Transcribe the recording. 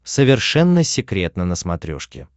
совершенно секретно на смотрешке